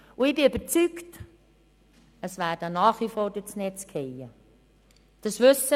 Ich bin überzeugt, dass einzelne Fälle nach wie vor durch das Netz fallen werden.